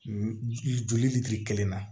Joli litiri kelen na